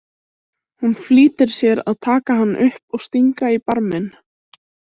Hún flýtir sér að taka hann upp og stinga í barminn.